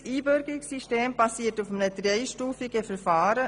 Unser Einbürgerungssystem basiert auf einem dreistufigen Verfahren.